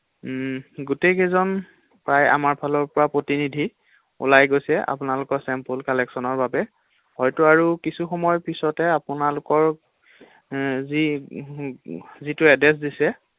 গোটেই কেইজন প্ৰায় আমাৰ ফালৰপৰা প্ৰতিনিধি ওলাই গৈছে আপোনালোকৰ চেম্পল কালেকচনৰ বাবে হয়তো আৰু কিছু সময়ৰ পিছতে আপোনালোকৰ যি যিটো এডৰেছ্ দিছে ৷